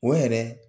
O yɛrɛ